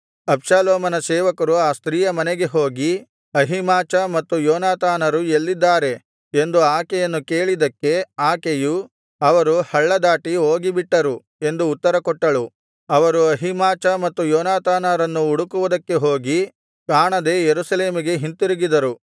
ಅಬ್ಷಾಲೋಮನ ಸೇವಕರು ಆ ಸ್ತ್ರೀಯ ಮನೆಗೆ ಹೋಗಿ ಅಹೀಮಾಚ ಮತ್ತು ಯೋನಾತಾನರು ಎಲ್ಲಿದ್ದಾರೆ ಎಂದು ಆಕೆಯನ್ನು ಕೇಳಿದ್ದಕ್ಕೆ ಆಕೆಯು ಅವರು ಹಳ್ಳ ದಾಟಿ ಹೋಗಿಬಿಟ್ಟರು ಎಂದು ಉತ್ತರ ಕೊಟ್ಟಳು ಅವರು ಅಹೀಮಾಚ ಮತ್ತು ಯೋನಾತಾನರನ್ನು ಹುಡುಕುವುದಕ್ಕೆ ಹೋಗಿ ಕಾಣದೆ ಯೆರೂಸಲೇಮಿಗೆ ಹಿಂತಿರುಗಿದರು